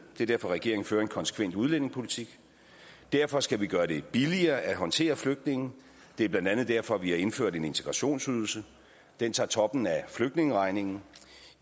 det er derfor regeringen fører en konsekvent udlændingepolitik derfor skal vi gøre det billigere at håndtere flygtninge det er blandt andet derfor vi har indført en integrationsydelse den tager toppen af flygtningeregningen